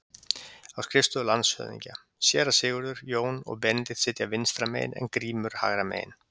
Á skrifstofu landshöfðingja: Séra Sigurður, Jón og Benedikt sitja vinstra megin en Grímur hægra megin.